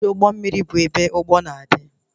Ọdụ ụgbọ mmiri bụ ebe ụgbọ na-adị